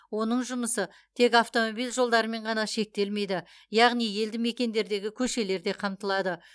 оның жұмысы тек автомобиль жолдарымен ғана шектелмейді яғни елді мекендердегі көшелер де қамтылады